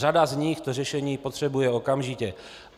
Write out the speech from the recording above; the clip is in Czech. Řada z nich to řešení potřebuje okamžitě.